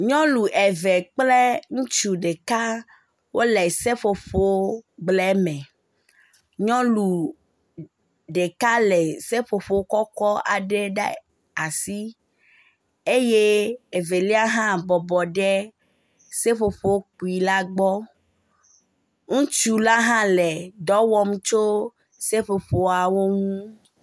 nyɔnu eve kple ŋutsu ɖeka wóle seƒoƒo gblɛ me nyɔnu ɖeka lè seƒoƒo kɔkɔ́ aɖe ɖe asi eye evelia hã bɔbɔ ɖe seƒoƒo kpui la gbɔ ŋutsu la hã le dɔwɔm tso seƒoƒoawo ŋu